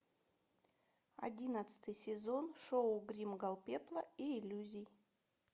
одиннадцатый сезон шоу гримгал пепла и иллюзий